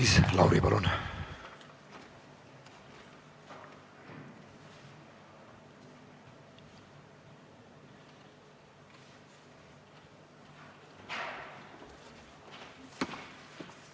Maris Lauri, palun!